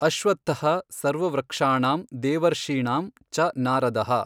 ಅಶ್ವತ್ಥಃ ಸರ್ವವೃಕ್ಷಾಣಾಂ ದೇವರ್ಷೀಣಾಂ ಚ ನಾರದಃ।